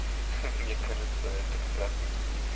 мне кажется это как раз таки